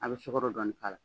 A bɛ sukoro dɔɔnin k'a la.